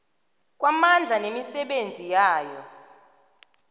kwamandla nemisebenzi yayo